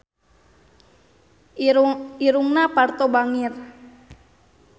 Irungna Parto bangir